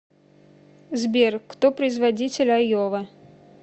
сбер кто производитель айова